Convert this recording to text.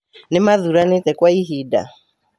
Nĩmathũranĩte kwa ihinda.